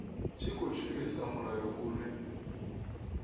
tshi khou shumisa mulayo une